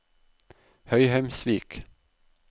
Høyheimsvik